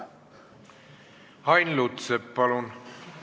Ain Lutsepp, palun!